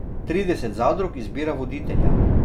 Trideset zadrug izbira voditelja.